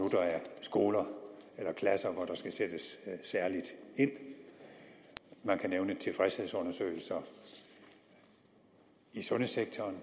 skoler eller klasser hvor der skal sættes særligt ind man kan nævne tilfredshedsundersøgelser i sundhedssektoren